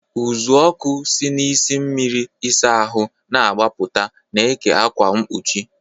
Uzuoku si n'isi mmiri ịsa ahụ na-agbaputa, na-eke ákwà mkpuchi.